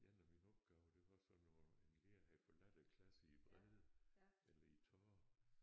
En af mine opgaver det var sådan noget en lærer havde forladt æ klasse i vrede eller i tårer